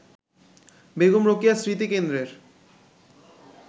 Begum Rokeya স্মৃতিকেন্দ্রের